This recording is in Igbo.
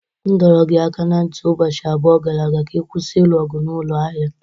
M dọrọ gị aka ná ntị ụbọchị abụọ gara aga ka ị kwụsị ilu ọgụ n'ụlọ ahịa!